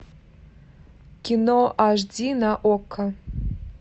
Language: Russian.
кино аш ди на окко